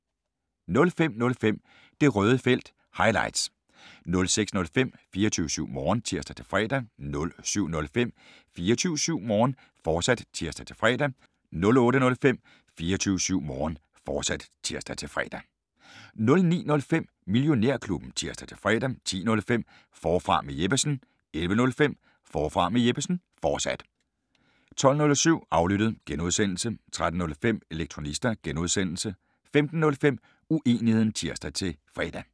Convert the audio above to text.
05:05: Det Røde Felt – highlights 06:05: 24syv Morgen (tir-fre) 07:05: 24syv Morgen, fortsat (tir-fre) 08:05: 24syv Morgen, fortsat (tir-fre) 09:05: Millionærklubben (tir-fre) 10:05: Forfra med Jeppesen 11:05: Forfra med Jeppesen, fortsat 12:07: Aflyttet (G) 13:05: Elektronista (G) 15:05: Uenigheden (tir-fre)